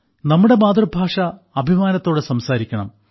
നമ്മുടെ മാതൃഭാഷ അഭിമാനത്തോടെ സംസാരിക്കണം